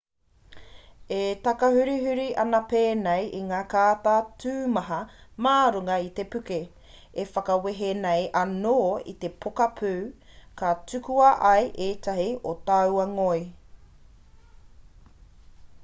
e takahurihuri ana pēnei i ngā kāta tumaha mā runga i te puke e whakawehe nei anō i te poka pū ka tukuna ai ētahi o taua ngoi